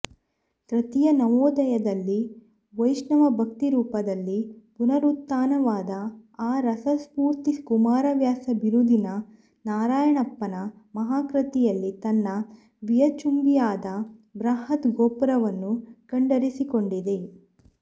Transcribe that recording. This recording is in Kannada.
ತೃತೀಯ ನವೋದಯದಲ್ಲಿ ವೈಷ್ಣವಭಕ್ತಿರೂಪದಲ್ಲಿ ಪುನರುತ್ಥಾನವಾದ ಆ ರಸಸ್ಫೂರ್ತಿ ಕುಮಾರವ್ಯಾಸ ಬಿರುದಿನ ನಾರಣಪ್ಪನ ಮಹಾಕೃತಿಯಲ್ಲಿ ತನ್ನ ವಿಯಚ್ಚುಂಬಿಯಾದ ಬೃಹದ್ ಗೋಪುರವನ್ನು ಕಂಡರಿಸಿಕೊಂಡಿದೆ